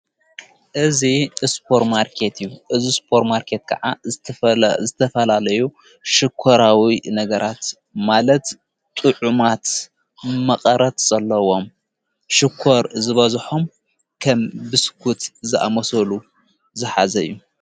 እዙ እስጶር ማርከት እዩ እዝ ስጶር ማርከት ከዓ ዝተፈላለዩ ሽኮራዊ ነገራት ማለት ጥዑማት መቐረት ዘለዎም ሽኰር ዝበዝሖም ኸም ብስኩት ዝኣመሰሉ ዝሓዘ እዩ።